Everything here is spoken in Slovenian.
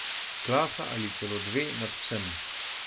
Klasa ali celo dve nad vsem.